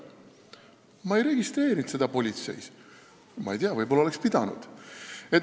Ma ei registreerinud seda politseis, ma ei tea, võib-olla oleks pidanud.